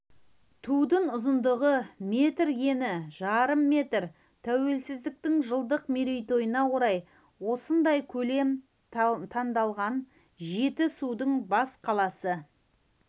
тудың ұзындығы метр ені жарым метр тәуелсіздіктің жылдық мерейтойына орай осындай көлем таңдалған жетісудың бас қаласы